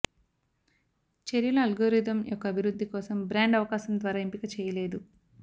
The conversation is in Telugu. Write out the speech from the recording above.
చర్యలు అల్గోరిథం యొక్క అభివృద్ధి కోసం బ్రాండ్ అవకాశం ద్వారా ఎంపిక చేయలేదు